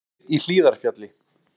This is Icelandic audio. Opið í Hlíðarfjalli